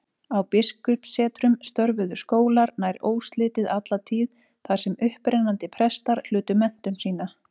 Á biskupssetrunum störfuðu skólar nær óslitið alla tíð, þar sem upprennandi prestar hlutu menntun sína.